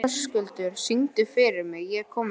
Höskuldur, syngdu fyrir mig „Ég er kominn heim“.